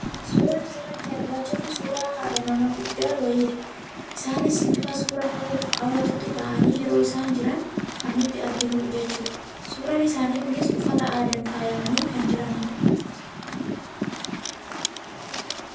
Suuraan asirratti argaa jirru , suuraa haadha nama guddaa wayiidha. Isaanis bifa suuraa ka'uuf hawwatutti taa'anii yeroo isaan jiran kan nuti arginu jechuudha. Suuraan isaanii kunis uffata aadaan faayamanii kan jiranidha.